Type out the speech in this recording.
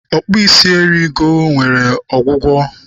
Ọkpụ isi eri ego nwere ọgwụgwọ.